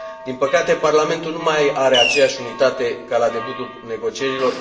Din păcate, Parlamentul nu mai are aceeași unitate ca la debutul negocierilor.